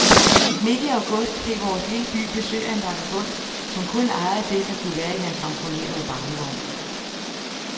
Midt i august fik vores lille by besøg af en vagabond, som kun ejede det, der kunne være i hans ramponerede barnevogn.